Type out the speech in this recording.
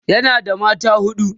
yana da mata huɗu